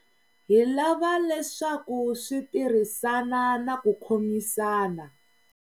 Hi lava leswaku swi tirhisana na ku khomisana.